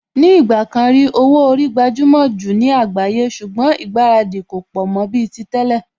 Ní ìgbà kan rí, owó orí gbajúmò jù ní àgbáyé ṣùgbọ́n ìgbáradì kò pọ̀ mọ́ bíi ti tẹ́lẹ̀